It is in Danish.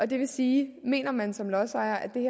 det vil sige at mener man som lodsejer at det